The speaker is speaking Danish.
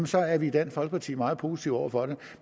så er vi i dansk folkeparti meget positive over for det